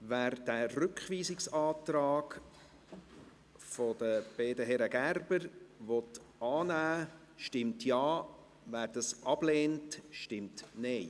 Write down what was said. Wer den Rückweisungsantrag der beiden Herren Gerber annehmen will, stimmt Ja, wer diesen ablehnt, stimmt Nein.